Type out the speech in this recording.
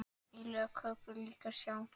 Lög í köku líka sá.